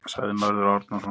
Sagði Mörður Árnason.